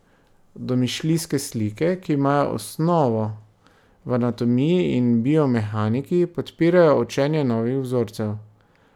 Domišljijske slike, ki imajo osnovo v anatomiji in biomehaniki, podpirajo učenje novih vzorcev.